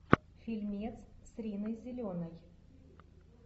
фильмец с риной зеленой